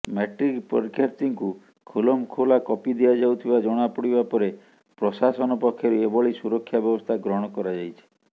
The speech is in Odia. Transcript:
ମାଟ୍ରିକ ପରୀକ୍ଷାର୍ଥୀଙ୍କୁ ଖୁଲମଖୁଲା କପି ଦିଆଯାଉଥିବା ଜଣାପଡ଼ିବା ପରେ ପ୍ରଶାସନ ପକ୍ଷରୁ ଏଭଳି ସୁରକ୍ଷା ବ୍ୟବସ୍ଥା ଗ୍ରହଣ କରାଯାଇଛି